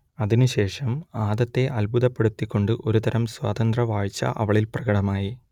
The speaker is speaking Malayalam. അതിനു ശേഷം ആദത്തെ അത്ഭുതപ്പെടുത്തിക്കൊണ്ട് ഒരു തരം സ്വാതന്ത്രവാച്ഛ അവളിൽ പ്രകടമായി